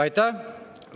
Aitäh!